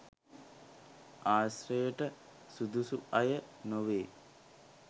ආශ්‍රයට සුදුසු අය නොවේ